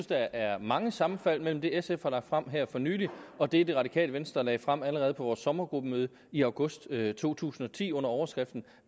der er mange sammenfald mellem det sf har lagt frem her for nylig og det det radikale venstre lagde frem allerede på vores sommergruppemøde i august to tusind og ti under overskriften